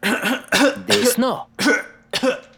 Desno?